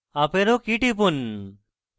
up arrow key টিপুন